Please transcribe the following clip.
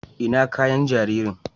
ina kayan jaririn?